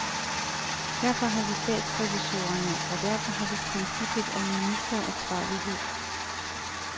Derfor har vi statsrevisorerne, og derfor har vi princippet om ministeransvarlighed.